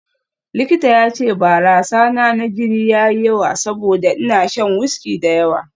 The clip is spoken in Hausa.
Likita ya ce barasa na jini na ya yi yawa saboda ina shan wiski da yawa